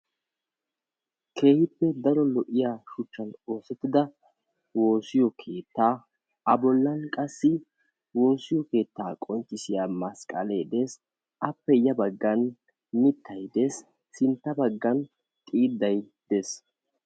Keehippe daro lo'iya woosiya keetta huuphiyan woosa keetta qonccissiya masqqale dees. A matan qassi mittati de'osonna.